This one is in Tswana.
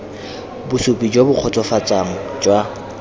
bosupi jo bo kgotsofatsang jwa